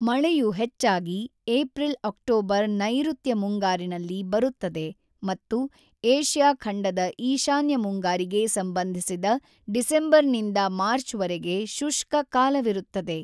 ಮಳೆಯು ಹೆಚ್ಚಾಗಿ ಏಪ್ರಿಲ್-ಅಕ್ಟೋಬರ್ ನೈಋತ್ಯ ಮುಂಗಾರಿನಲ್ಲಿ ಬರುತ್ತದೆ ಮತ್ತು ಏಷ್ಯಾ ಖಂಡದ ಈಶಾನ್ಯ ಮುಂಗಾರಿಗೆ ಸಂಬಂಧಿಸಿದ ಡಿಸೆಂಬರ್‌ನಿಂದ ಮಾರ್ಚ್‌ವರೆಗೆ ಶುಷ್ಕ ಕಾಲವಿರುತ್ತದೆ.